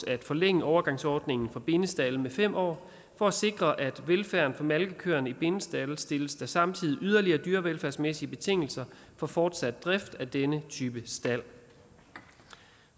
at forlænge overgangsordningen for bindestalde med fem år for at sikre velfærden for malkekøerne i bindestalde stilles der samtidig yderligere dyrevelfærdsmæssige betingelser for fortsat drift af denne type stald